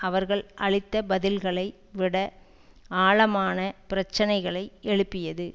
அவர்கள் அளித்த பதில்களை விட ஆழமான பிரச்சினைகளை எழுப்பியது